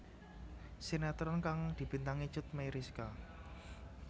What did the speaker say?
Sinetron kang dibintangi Cut Meyriska